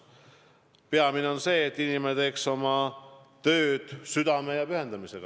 Ent peamine on see, et inimene teeb oma tööd südame ja pühendumusega.